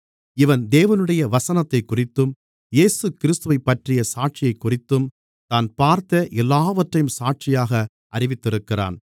இவன் தேவனுடைய வசனத்தைக்குறித்தும் இயேசுகிறிஸ்துவைப்பற்றிய சாட்சியைக்குறித்தும் தான் பார்த்த எல்லாவற்றையும் சாட்சியாக அறிவித்திருக்கிறான்